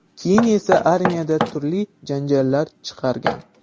Keyin esa armiyada turli janjallar chiqargan.